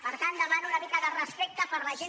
per tant demano una mica de respecte per la gent